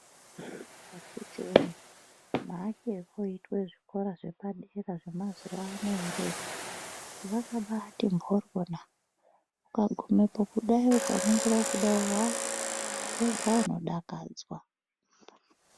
Akiti wee maakirwe arikuitwa zvikora zvepadera zvemazuvaano ere zvakabaati mboryona ukagumepo ukaringira kudayi haa wega unodakadzwa .